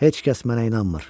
Heç kəs mənə inanmır.